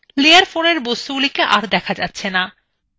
layer four এর বস্তুগুলি are দেখা যাচ্ছেনা